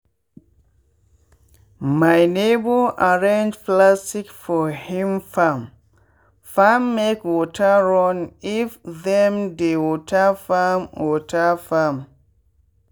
my neighbour arrange plastic sheet for him farmmake water run if them dey water farm. water farm.